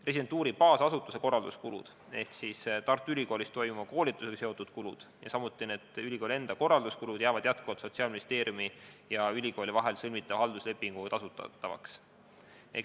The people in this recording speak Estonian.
Residentuuri baasasutuse korralduskulud ehk Tartu Ülikoolis toimuva koolitusega seotud kulud, samuti ülikooli enda korralduskulud jäävad jätkuvalt Sotsiaalministeeriumi ja ülikooli vahel sõlmitava halduslepinguga tasustatavaks.